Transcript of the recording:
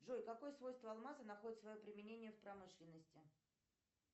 джой какое свойство алмаза находит свое применение в промышленности